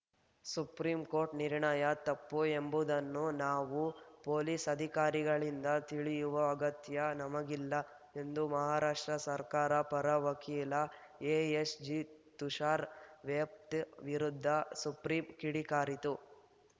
supreme court ನಿರ್ಣಯ ತಪ್ಪು ಎಂಬುದನ್ನು ನಾವು ಪೊಲೀಸ್‌ ಅಧಿಕಾರಿಗಳಿಂದ ತಿಳಿಯುವ ಅಗತ್ಯ ನಮಗಿಲ್ಲ ಎಂದು ಮಹಾರಾಷ್ಟ್ರ ಸರ್ಕಾರ ಪರ ವಕೀಲ ಎಎಸ್‌ಜಿ ತುಷಾರ್‌ ವೆಹ್ತಾ ವಿರುದ್ಧ ಸುಪ್ರೀಂ ಕಿಡಿಕಾರಿತು